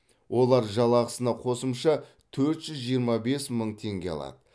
олар жалақысына қосымша төрт жүз жиырма бес мың теңге алады